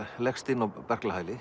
leggst inn á